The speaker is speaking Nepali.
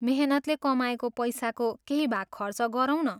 मेहनतले कमाएको पैसाको केही भाग खर्च गरौँ न।